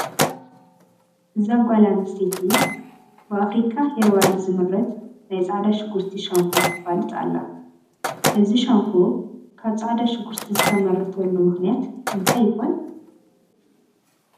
እዛ ጓል ኣነስተይቲ ብኣፍሪካ ሄርባል ዝምረት ናይ ፃዕዳ ሽጉርቲ ሻምፖ ተፋልጥ ኣላ፡፡ እዚ ሻምፖ ካብ ፃዕዳ ሽጉርቲ ዝተመረተሉ ምኽንያት እንታይ ይኾን?